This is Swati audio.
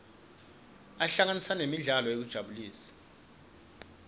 ahlanganisa nemidlalo yekutijabulisa